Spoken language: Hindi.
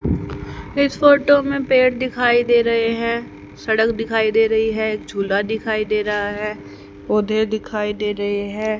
इस फोटो में पेड़ दिखाई दे रहे हैं सड़क दिखाई दे रही है झूला दिखाई दे रहा है पौधे दिखाई दे रहे है।